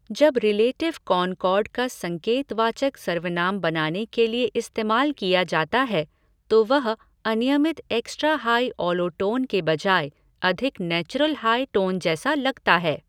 जब relative concord का संकेतवाचक सर्वनाम बनाने के लिए इस्तेमाल किया जाता है, तो वह अनियमित एक्सट्रा हाई ऑलो टोन के बजाय अधिक नैचुरल हाई टोन जैसा लगता है।